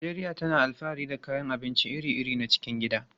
Najeriya tana alfahari da kayan abinci iri-iri na cikin gida.